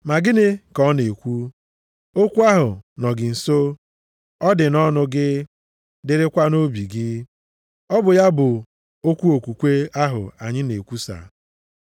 Ma gịnị ka ọ na-ekwu? “Okwu ahụ nọ gị nso, ọ dị nʼọnụ gị dịrịkwa nʼobi gị,” + 10:8 \+xt Dit 30:14\+xt* ọ bụ ya, bụ okwu okwukwe ahụ anyị na-ekwusa.